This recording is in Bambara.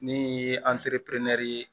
Min ye ye